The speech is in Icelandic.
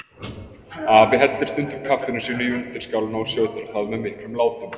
Afi hellir stundum kaffinu sínu í undirskálina og sötrar það með miklum látum.